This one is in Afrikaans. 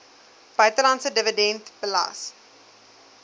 buitelandse dividend belas